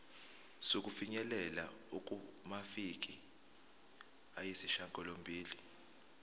sokufinyelela kumaviki ayisishagalombili